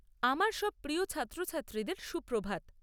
আমার সব প্রিয় ছাত্রছাত্রীদের সুপ্রভাত।